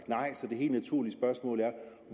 det helt naturlige spørgsmål